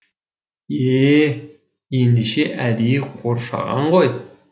е ендеше әдейі қоршаған ғой